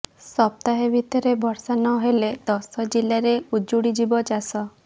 ସପ୍ତାହେ ଭିତରେ ବର୍ଷା ନ ହେଲେ ଦଶ ଜିଲାରେ ଉଜୁଡ଼ି ଯିବ ଚାଷ